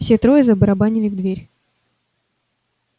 все трое забарабанили в дверь